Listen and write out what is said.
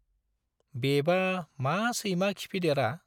बेबा मा सैमा खिफिदेरा।